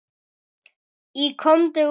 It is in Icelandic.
Í Komdu út!